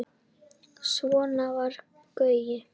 Svona var Gaui.